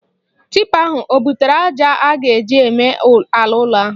Tipa ahụ o butere aja a ga-eji eme ala ụlọ ahụ?